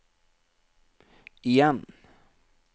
igjen